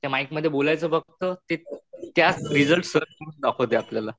त्या माइकमध्ये बोलायचं फक्त दाखवते आपल्याला.